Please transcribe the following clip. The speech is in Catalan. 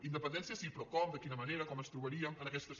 independència sí però com de quina manera com ens trobaríem en aquesta situació